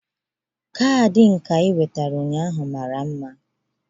Kaadị nka ị wetara ụnyaahụ mara mma